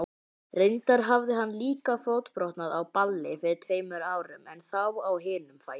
Reyndar hafði hann líka fótbrotnað á balli fyrir tveimur árum, en þá á hinum fætinum.